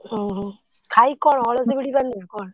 ଓହୋ ଖାଇକି କଣ? ଅଳସ ଭିଡ଼ି ପାରୁନୁ ନା କଣ?